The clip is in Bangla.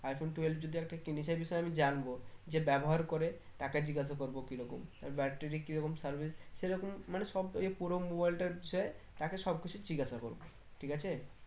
i-phone twelve যদি একটা কিনি সেই বিষয়ে আমি জানবো যে ব্যবহার করে তাকে জিজ্ঞাসা করবো কি রকম তার battery কি রকম service সেরকম মানে সব ইয়ে পুরো mobile টার বিষয় তাকে সব কিছু জিজ্ঞাসা করবো ঠিক আছে?